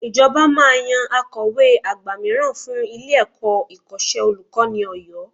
Ìjọba máa yan Akọ̀we àgbà mìíràn fún ilé-ẹ̀kọ́ Ìkọ́ṣẹ́ Olùkọ́ni Ọ̀yọ́